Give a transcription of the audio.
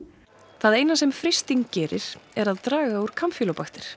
það eina sem frysting gerir er að draga úr